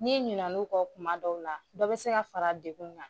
N'i ɲina n'o kɔ kuma dɔw la dɔ bɛ se ka fara dekun kan.